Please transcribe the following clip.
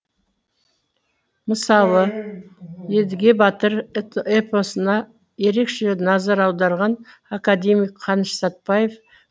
мысалы едіге батыр эпосына ерекше назар аударған академик қаныш сәтбаев